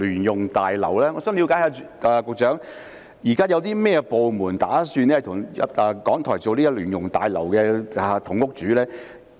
局長，我想了解一下，現時有甚麼部門打算與港台共同使用聯用大樓呢？